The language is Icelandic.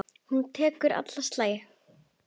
Hún tekur alla slagi.